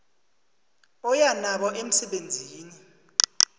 oya nabo emsemeni